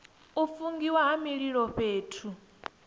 u fungiwa ha mililo fhethu